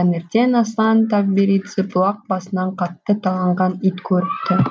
таңертең аслан тавберидзе бұлақ басынан қатты таланған ит көріпті